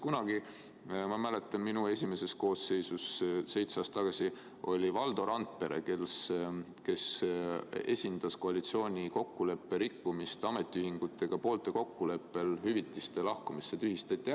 Kunagi, ma mäletan, minu esimeses koosseisus seitse aastat tagasi oli Valdo Randpere see, kes esindas koalitsiooni, kui ametiühingutega sõlmitud kokkulepet rikuti ja poolte kokkuleppel lahkumise korral hüvitis tühistati.